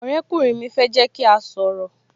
Ọ̀rẹ́ kùnrin mi fẹ́ jẹ́ kí a sọ̀rọ̀